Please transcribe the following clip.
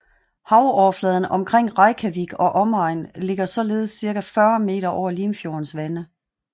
Havoverfladen omkring Reykjavik og omegn ligger således cirka 40 meter over Limfjordens vande